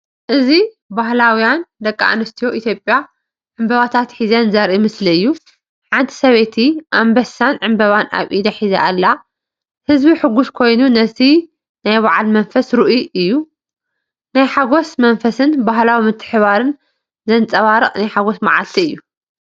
እዚ ባህላውያን ደቂ ኣንስትዮ ኢትዮጵያ ዕምባባታት ሒዘን ዘርኢ ምስሊ እዩ። ሓንቲ ሰበይቲ ኣንበሳን ዕምባባን ኣብ ኢዳ ሒዛ ኣላ። ህዝቢ ሕጉስ ኮይኑ እቲ ናይ በዓል መንፈስ ርኡይ እዩ። ናይ ሓጎስ መንፈስን ባህላዊ ምትሕብባርን ዘንጸባርቕ ናይ ሓጎስ መዓልቲ እዩ።